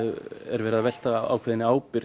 verið að velta ákveðinni ábyrgð